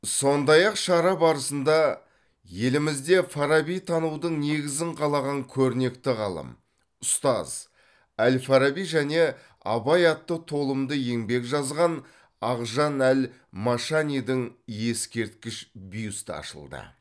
сондай ақ шара барысында елімізде фарабитанудың негізін қалаған көрнекті ғалым ұстаз әл фараби және абай атты толымды еңбек жазған ақжан әл машанидің ескерткіш бюсті ашылды